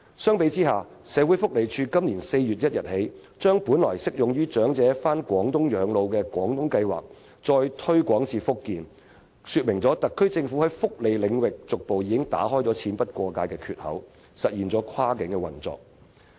相比之下，社會福利署由本年4月起把本來適用於長者到廣東養老的"廣東計劃"再推廣至福建，說明特區政府在福利領域上已逐步打開"錢不過界"的缺口，實現跨境運作。